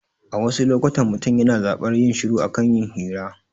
A wasu lokutan, mutum yana zaɓar yin shiru a kan yin hira